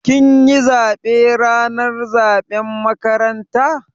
Kin yi zaɓe ranar zaɓen makaranta?